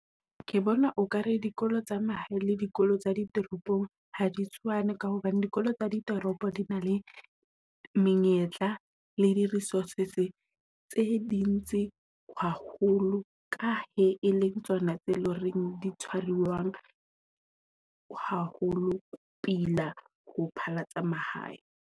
Ke bona o ka re dikolo tsa mahae le dikolo tsa di toropong ha di tshwane, ka hobane dikolo tsa ditoropo di na le menyetla le di-resources tse ding tse haholo ka he e leng tsona tse leng reng di tshwariwang haholo pila ho phahla tsa mahae.